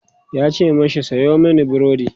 yace mashi "Sayo mani burodi!"